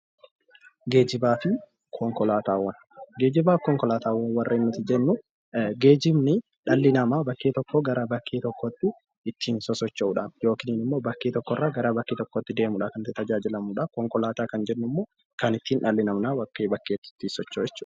Geejibaa fi konkolaataawwan Geejibaa fi konkolaataawwan warreen nuti jennu, geejibni dhalli namaa bakkee tokkoo gara bakkee tokkootiitti ittiin sosocho'uudhaaf yookiin bakkee tokko irraa gara bakkee tokkootti deemuudhaaf kan inni tajaajilamudha. Konkolaataa kan jennu immoo kan dhalli namaa bakkee bakkeetti ittiin socho'u jechuudha.